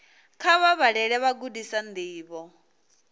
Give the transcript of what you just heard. kha vha vhalele vhagudiswa ndivho